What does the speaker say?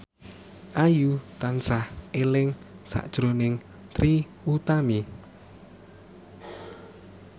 Ayu tansah eling sakjroning Trie Utami